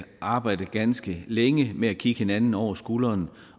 arbejde ganske længe med at kigge hinanden over skulderen